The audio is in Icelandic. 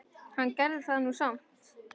Hann gerði það nú samt.